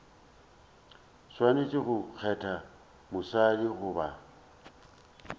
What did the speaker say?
swanetše go kgetha mosadi goba